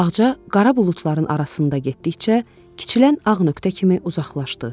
Ağca qara buludların arasında getdikcə kiçilən ağ nöqtə kimi uzaqlaşdı.